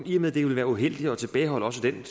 i og med det ville være uheldigt at tilbageholde også den